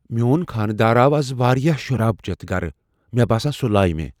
میون خانہ دار آو از واریاہ شراب چیتھ گرٕ ۔ مے٘ باسان سُہ لایہ مےٚ۔